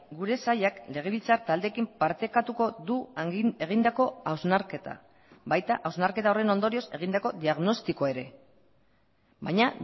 gure sailak legebiltzar taldeekin partekatuko du egindako hausnarketa baita hausnarketa horren ondorioz egindako diagnostikoa ere baina